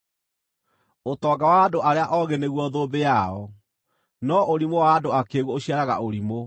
Ũtonga wa andũ arĩa oogĩ nĩguo thũmbĩ yao, no ũrimũ wa andũ akĩĩgu ũciaraga ũrimũ.